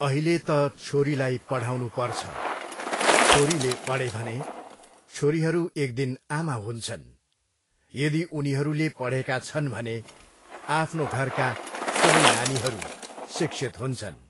अहिले त छोरीलाई पढाउनु पर्छ, छोरीछोरीले पढे भने, छोरीहरू एक दिन आमा हुन्छन्, यदि उनीहरूले पढेका छन् भने आफ्नो घरका सबै नानीहरू शिक्षित हुन्छन्।